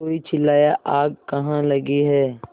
कोई चिल्लाया आग कहाँ लगी है